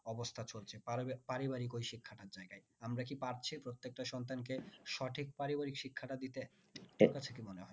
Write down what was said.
অবস্থা চলছে পারিবারিক ওই শিক্ষাটার জায়গায়। আমরা কি পারছি প্রত্যেকটা সন্তানকে সঠিক পারিবারিক শিক্ষাটা দিতে? তোর কাছে কি মনে হয়?